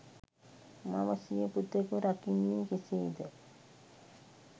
මව සිය පුතෙකු රකින්නේ කෙසේද